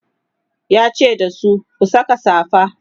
yace dasu "ku Saka safa!"